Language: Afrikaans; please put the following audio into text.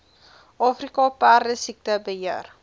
afrika perdesiekte beheer